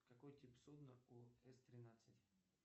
какой тип судна у с тринадцать